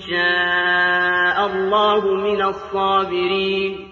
شَاءَ اللَّهُ مِنَ الصَّابِرِينَ